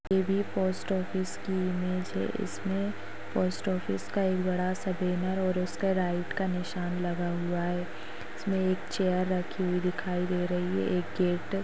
ये भी post office की इमेज है इसमे पोस्ट ऑफिस का एक बड़ा सा बैरन और उसका राईट का निशान लगा हुआ है उसमे एक चेयर रखी हुई दिखाई दे रही है एक गेट --